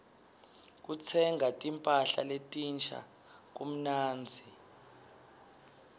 kutsenga timpahla letinsha kumnandzi